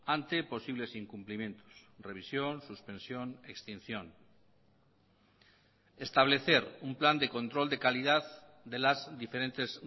ante posibles incumplimientos revisión suspensión extinción establecer un plan de control de calidad de las diferentes